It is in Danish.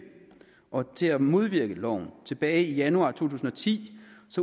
og til at modvirke loven tilbage i januar to tusind og ti